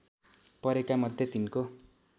परेका मध्ये तिनको